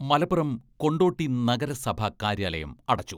മലപ്പുറം കൊണ്ടോട്ടി നഗരസഭാ കാര്യാലയം അടച്ചു.